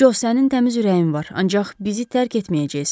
Co, sənin təmiz ürəyin var, ancaq bizi tərk etməyəcəksən.